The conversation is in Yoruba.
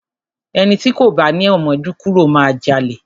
Ẹni ti kò bá ni àmójúkúrò máa jalè.